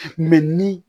ni